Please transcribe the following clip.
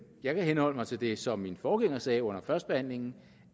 jeg vil henholde mig til det som min forgænger sagde under førstebehandlingen